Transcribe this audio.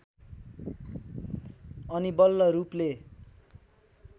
अनि बल्ल रूपले